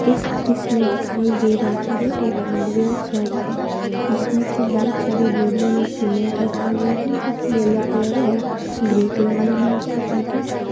इस दृश्य में दिखाई दे रहा है यह एक हार्डवेयर शॉप है जिसमें की बहुत सारी बोरियों में सीमेंट रखा गया है जो कि येलो कलर और ग्रे कलर में है उसका पैकेट ।